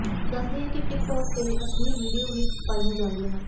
ਦੱਸ ਦਈਏ ਕਿ ਟਿੱਕ ਟੌਕ ਤੇ ਅਸ਼ਲੀਲ ਵੀਡੀਓ ਵੀ ਪਾਈਆਂ ਜਾਂਦੀਆ ਹਨ